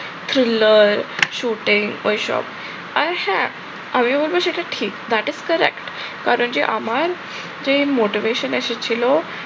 chillar shooting ওই সব। আর হ্যাঁ আমিও বলবো সেটা ঠিক that is correct কারণ যে আমার যেই motivation এসেছিল